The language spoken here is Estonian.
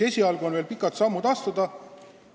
Nii et pikad sammud on veel astuda.